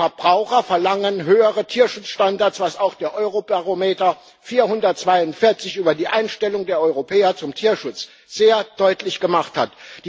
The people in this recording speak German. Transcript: Die Verbraucher verlangen höhere Tierschutzstandards, was auch der Eurobarometer 442 über die Einstellung der Europäer zum Tierschutz sehr deutlich gemacht hat.